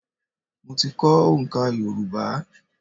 Mo ti kọ́ oǹká Yorùbá.